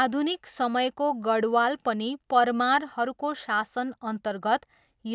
आधुनिक समयको गढवाल पनि परमारहरूको शासनअन्तर्गत